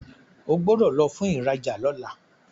O gbódò lò fún ìrajà lọla!